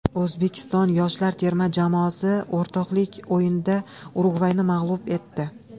O‘zbekiston yoshlar terma jamoasi o‘rtoqlik o‘yinida Urugvayni mag‘lub etdi.